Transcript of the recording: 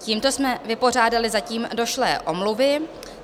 Tímto jsme vypořádali zatím došlé omluvy.